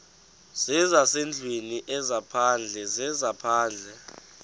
zezasendlwini ezaphandle zezaphandle